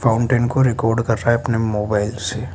Fountain को record कर रहा है अपने मोबाइल से।